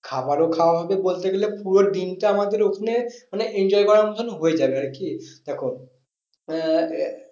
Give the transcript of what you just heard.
খাবারও খাওয়া হবে বলতে গেলে পুরো দিনটা আমাদের ওখানে মানে enjoy করার মতন হয়ে যাবে আর কি দেখো আহ